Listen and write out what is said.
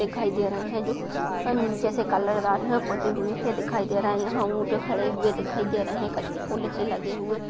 दिखाई दे रही है ओर निचे से कलर दार होते हुये दिखाई दे रही है यह ऊंट खड़े हुए दिखाएं दे रहे है। कछ फुल आचे लगे हुए--